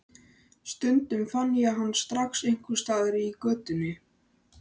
Stundum fann ég hann strax einhvers staðar í götunni.